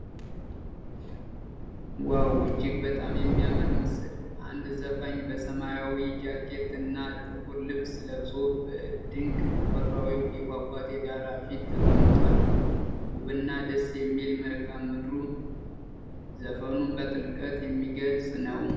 ዋው! እጅግ በጣም የሚያምር ምስል! አንድ ዘፋኝ በሰማያዊ ጃኬት እና ጥቁር ልብስ ለብሶ፣ በድንቅ ተፈጥሮአዊ የፏፏቴ ዳራ ፊት ተቀምጧል። ውብና ደስ የሚል መልክአ ምድሩ ዘፈኑን በጥልቀት የሚገልጽ ነው።